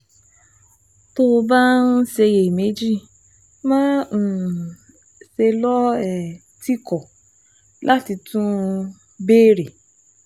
Tó o bá ń ṣiyèméjì, má um ṣe lọ́ um tìkọ̀ láti tún um béèrè